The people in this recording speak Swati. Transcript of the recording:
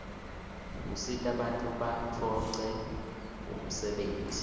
usita bantfu batfoce umsebeit